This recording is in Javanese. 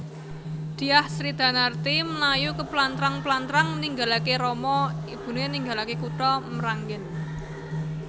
Dyah Sridanarti mlayu keplantrang plantrang ninggalaké rama ibuné ninggalaké kutha Mranggèn